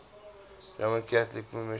roman catholic missionaries